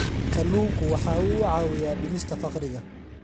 Kalluunku waxa uu caawiyaa dhimista faqriga.